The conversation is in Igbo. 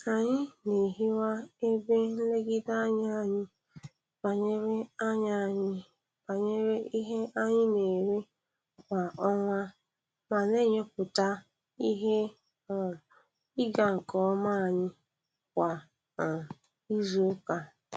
Anyi na-ehiwa ebe nlegide anya anyị banyere anya anyị banyere ihe anyị na-ere kwa ọnwa ma na-enyopụta ihe um ịga nke ọma anyị kwa um izu ụka.